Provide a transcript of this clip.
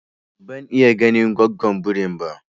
Ban iya ganin gwaggon birin ba